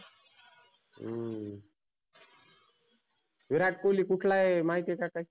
हम्म विराट कोल्ही कुठला आहे माहिती आहे का काही?